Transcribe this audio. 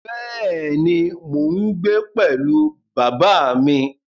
Bẹ́ẹ̀ ni, mò ń gbé pẹ̀lú bàbá mi